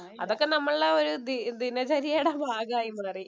അതൊക്കെ നമ്മുടെ ഒരു ദി ദിനചര്യയുടെ ഭാഗമായി എന്ന് പറയും.